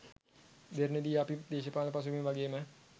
දෙරණ දී අපි දේශපාලනය පසුබිම වගේම